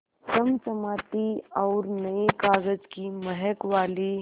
चमचमाती और नये कागज़ की महक वाली